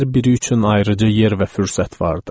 Hər biri üçün ayrıca yer və fürsət vardı.